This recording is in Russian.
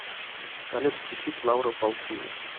салют включить лаура паусини